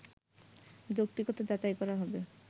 যৌক্তিকতা যাচাই করা হবে